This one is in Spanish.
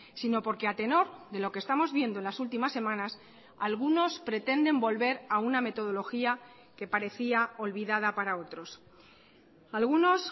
sino porque a tenor de lo que estamos viendo en las últimas semanas algunos pretenden volver a una metodología que parecía olvidada para otros algunos